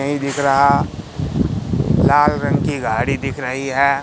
नहीं दिख रहा लाल रंग की गाड़ी दिख रहीं हैं।